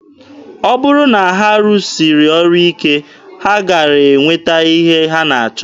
Ọ bụrụ na ha rụsiri ọrụ ike, ha gaara enweta ihe ha na-achọ.